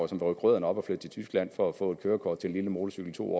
som rykker rødderne op og flytter til tyskland for at få et kørekort til lille motorcykel to